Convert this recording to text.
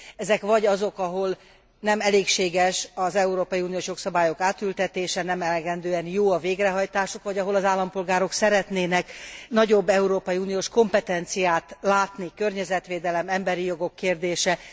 Ezek vagy azok, ahol nem elégséges az európai uniós jogszabályok átültetése, nem elegendően jó a végrehajtásuk, vagy ahol az állampolgárok szeretnének nagyobb európai uniós kompetenciát látni környezetvédelem, emberi jogok kérdése.